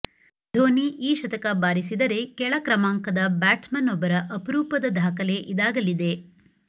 ಧೋನಿ ಈ ಶತಕ ಬಾರಿಸಿದರೆ ಕೆಳ ಕ್ರಮಾಂಕದ ಬ್ಯಾಟ್ಸ್ ಮನ್ ಒಬ್ಬರ ಅಪರೂಪದ ದಾಖಲೆ ಇದಾಗಲಿದೆ